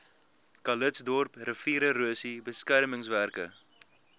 calitzdorp riviererosie beskermingswerke